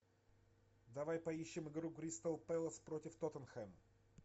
давай поищем игру кристал пэлас против тоттенхэм